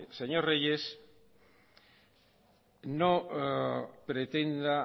señor reyes no pretenda